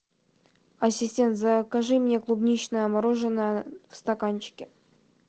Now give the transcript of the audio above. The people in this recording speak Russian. ассистент закажи мне клубничное мороженое в стаканчике